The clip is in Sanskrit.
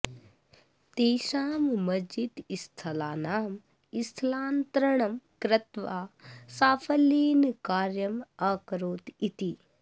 तेषां मस्ज़िद् स्थलानां स्थलान्तरणं कृत्वा साफल्येन कार्यम् अकरोत् इति